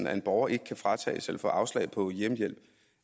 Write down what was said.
at en borger ikke kan fratages eller få afslag på hjemmehjælp